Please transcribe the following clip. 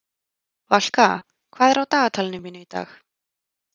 Valka, hvað er á dagatalinu mínu í dag?